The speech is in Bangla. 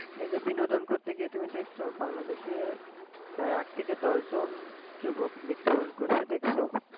এই যে বিনোদন করতে গিয়ে তুমি দেখছো বাংলাদেশে প্রায় আট থেকে দশ জন যুবক মৃত্যু বরন করেছে দেখছো?